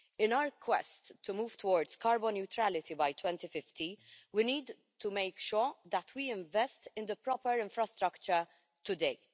In our quest to move towards carbon neutrality by 2050, we need to make sure that we invest in the proper infrastructure today.